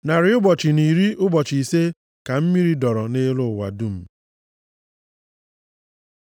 Narị ụbọchị na iri ụbọchị ise ka mmiri dọọrọ nʼelu ụwa dum.